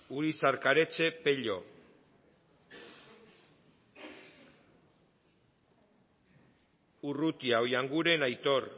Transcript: urizar karetxe pello urrutia oianguren aitor